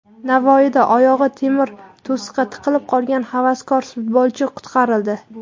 Navoiyda oyog‘i temir to‘siqqa tiqilib qolgan havaskor futbolchi qutqarildi .